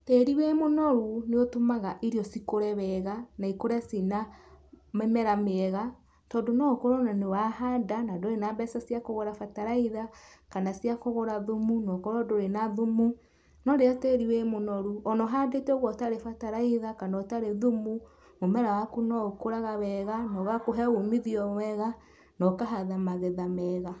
Tĩri wĩ mũnoru nĩũtũmaga irio cikũre wega, na ikũre cina na mĩmera mĩega, tondũ no ũkorwo nĩ wahanda ndũrĩ na mbeca cia kũgũra bataraitha kana ciakũgũra thumu, na ũkorwo ndũrĩ na thumu, no rĩrĩa tĩri wĩ mũnoru o na ũhandĩte ũgũo ũtarĩ bataraitha, kana ũtarĩ thumu, mũmera waku no ũkũraga wega na ũgakũhe umithio mwega na ũkahatha magetha mega.